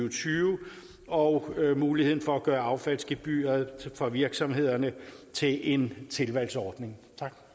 og tyve og muligheden for at gøre affaldsgebyret for virksomhederne til en tilvalgsordning